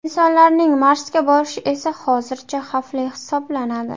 Insonlarning Marsga borishi esa hozircha xavfli hisoblanadi.